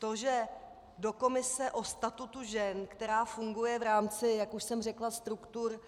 To, že do Komise o statutu žen, která funguje v rámci, jak už jsem řekla, struktur